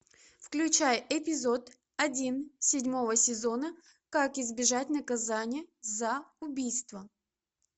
включай эпизод один седьмого сезона как избежать наказания за убийство